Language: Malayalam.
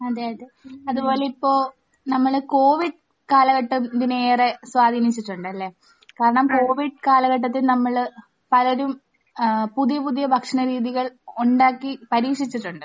അതെ. അതെ. അതുപോലെ ഇപ്പോൾ നമ്മൾ കോവിഡ് കാലഘട്ടം ഇതിന് ഏറേ സ്വാധീനിച്ചിട്ടുണ്ട്. അല്ലെ? കാരണം കോവിഡ് കാലഘട്ടത്തിൽ നമ്മൾ പലരും ഏഹ് പുതിയ പുതിയ ഭക്ഷണരീതികൾ ഉണ്ടാക്കി പരീക്ഷിച്ചിട്ടുണ്ട്.